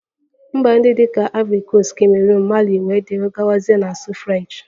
Mba ndị dị ka ivori koast, kameroon, Mali wdg na-asụ French